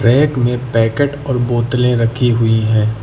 Rack में packet और बोतले रखी हुई है।